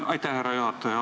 Aitäh, härra juhataja!